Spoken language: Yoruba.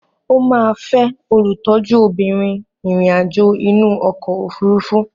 Ó máa fẹ́ olùtọ́jú obìnrin ìrìn àjò inú ọkọ̀ òfurufú.